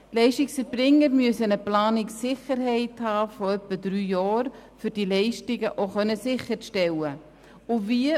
Die Leistungserbringer müssen eine Planungssicherheit von etwa drei Jahren haben, um diese Leistungen sicherstellen zu können.